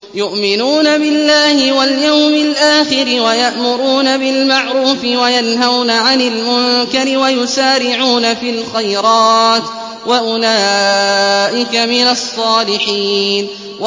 يُؤْمِنُونَ بِاللَّهِ وَالْيَوْمِ الْآخِرِ وَيَأْمُرُونَ بِالْمَعْرُوفِ وَيَنْهَوْنَ عَنِ الْمُنكَرِ وَيُسَارِعُونَ فِي الْخَيْرَاتِ وَأُولَٰئِكَ مِنَ الصَّالِحِينَ